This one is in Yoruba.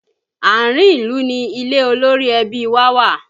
Àárín ìlú ni ilé olórí ẹbí wa wà